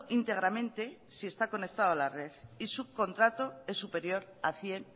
íntegramente si está conectado a la red y su contrato es superior a cien